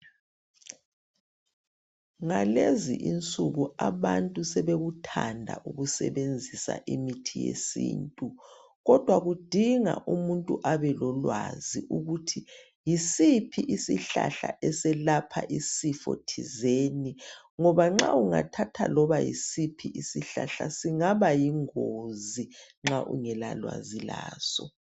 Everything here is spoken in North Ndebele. Ngalezi insuku abantu sebekuthanda ukusebenzisa imithi yesintu kodwa kudinga ukuthi umuntu abelolwazi ukuthi yisiphi isihlahla eselapha isifo thizeni ngoba nxa ungathatha loba yisiphi isihlahla singaba yingozi nxa ungela lwazi laso.